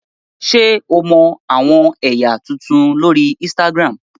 Ṣe o mọ awọn ẹya tuntun lori Instagram?